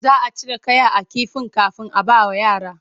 Za a cire kaya a kifin kafin a bawa yara.